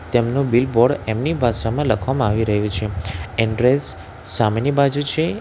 તેમનો બિલબોર્ડ એમની ભાષામાં લખવામાં આવી રહ્યું છે એડ્રેસ સામેની બાજુ છે.